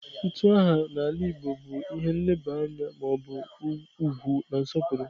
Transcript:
Utu aha n'ala igbo bu ihe nleba anya ma obu ugwu na nsopuru.